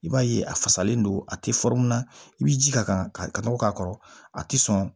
I b'a ye a fasalen don a tɛ i bɛ ji k'a kan kaba k'a kɔrɔ a tɛ sɔn